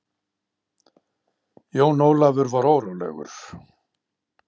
Jón Ólafur var órólegur.